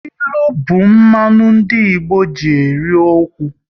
Ilu bụ mmanụ ndị Igbo ji eri okwu